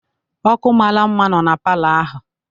Ọ́kụ́ mara mma nno na palọ ahụ.